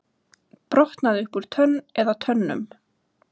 Brotnaði upp úr tönn eða tönnum